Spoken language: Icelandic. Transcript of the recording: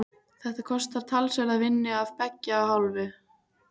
Þetta kostar talsverða vinnu af beggja hálfu.